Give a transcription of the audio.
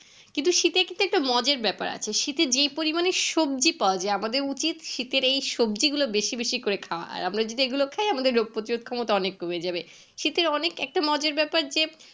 কিন্তু শীতে একটু ব্যাপার আছে শীতে যেই পরিমানে সবজি পাওয়া যাই আমাদের উচিত শীতের এই সবজি গুলো বেশি বেশি করে খাওয়া আর আমরা যদি এই গুলো খাই আমাদের রোগ প্রতিরোধ ক্ষমতা অনেক কমে যাবে শীতে অনেক একটা মজার ব্যাপার যে